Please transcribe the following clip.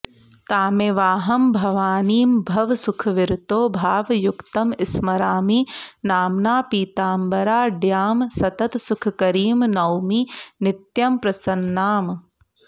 तामेवाहं भवानीं भवसुखविरतो भावयुक्तं स्मरामि नाम्ना पीताम्बराढ्यां सततसुखकरीं नौमि नित्यं प्रसन्नाम्